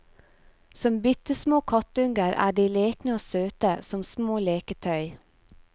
Som bittesmå kattunger er de lekne og søte, som små leketøy.